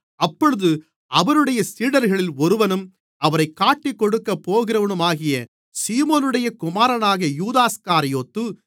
அப்பொழுது அவருடைய சீடர்களில் ஒருவனும் அவரைக் காட்டிக்கொடுக்கப்போகிறவனுமாகிய சீமோனுடைய குமாரனான யூதாஸ்காரியோத்து